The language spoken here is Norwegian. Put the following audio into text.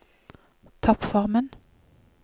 toppformen